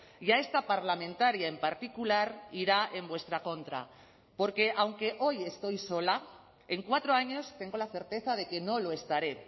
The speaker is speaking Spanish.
y a esta parlamentaria en particular irá en vuestra contra porque aunque hoy estoy sola en cuatro años tengo la certeza de que no lo estaré